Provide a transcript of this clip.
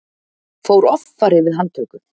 Fór offari við handtöku